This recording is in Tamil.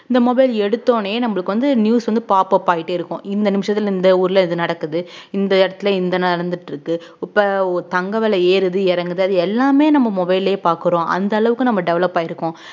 இந்த mobile எடுத்த உடனே நம்மளுக்கு வந்து news வந்து pop up ஆயிட்டே இருக்கும் இந்த நிமிஷத்துல இந்த ஊர்ல இது நடக்குது இந்த இடத்துல இந்த நடந்துட்டிருக்கு இப்ப தங்கம் விலை ஏறுது இறங்குது அது எல்லாமே நம்ம mobile லயே பாக்குறோம் அந்த அளவுக்கு நம்ம develop ஆயிருக்கோம்